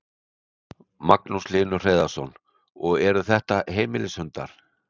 Magnús Hlynur Hreiðarsson: Og eru þetta heimilishundar?